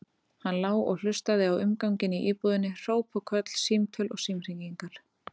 Hann lá og hlustaði á umganginn í íbúðinni, hróp og köll, símtöl, símhringingar.